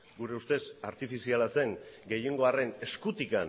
gure ustez artifiziala zen gehiengoaren eskutik